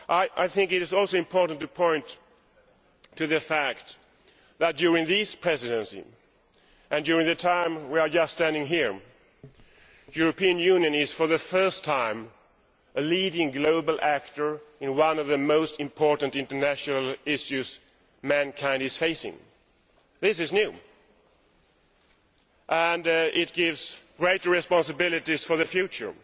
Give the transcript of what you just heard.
I think it is also important to point to the fact that, during this Presidency and while we are standing here, the European Union is, for the first time, a leading global actor in one of the most important international issues mankind is facing. This is new and it gives great responsibilities for the future